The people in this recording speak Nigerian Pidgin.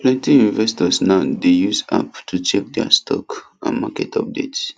plenty investors now dey use app to check their stock and market updates